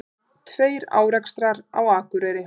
Tveir árekstrar á Akureyri